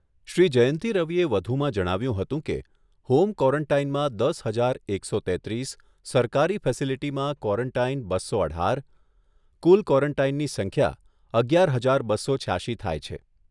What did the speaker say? શ્રી જયંતી રવિએ વધુમાં જણાવ્યુંં હતું કે, હોમ ક્વોરોન્ટાઇનમાં દસ હજાર એકસો તેત્રીસ, સરકારી ફેસીલીટીમાં ક્વોરોન્ટાઇન બસો અઢાર, કુલ ક્વોરોન્ટાઇનની સંખ્યા અગિયાર હજાર બસો છ્યાશી થાય છે.